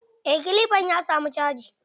Eh kilifan ya samu caji.